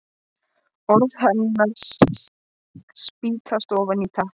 Orð hennar spýtast ofan í teppið.